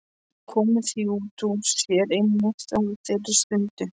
Komið því út úr sér einmitt á þeirri stundu.